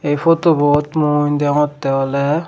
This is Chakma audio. ay photobot mui deongotte ole.